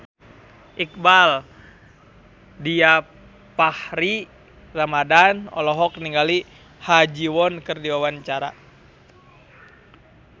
Iqbaal Dhiafakhri Ramadhan olohok ningali Ha Ji Won keur diwawancara